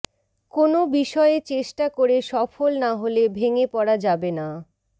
কোনো বিষয়ে চেষ্টা করে সফল না হলে ভেঙ্গে পড়া যাবে না